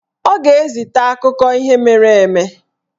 Ọ ga-ezita akụkọ ihe mere eme